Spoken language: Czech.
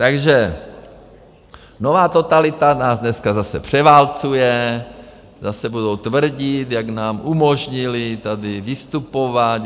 Takže nová totalita nás dneska zase převálcuje, zase budou tvrdit, jak nám umožnili tady vystupovat.